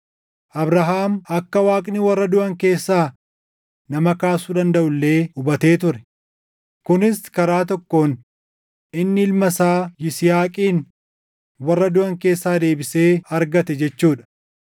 Abrahaam akka Waaqni warra duʼan keessaa nama kaasuu dandaʼu illee hubatee ture; kunis karaa tokkoon inni ilma isaa Yisihaaqin warra duʼan keessaa deebisee argate jechuu dha.